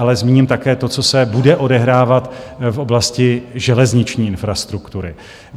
Ale zmíním také to, co se bude odehrávat v oblasti železniční infrastruktury.